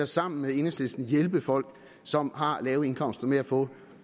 sammen med enhedslisten hjælpe folk som har lave indkomster med at få